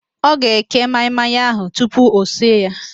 Ọ ga-eke maị-maị ahụ tupu o sie ya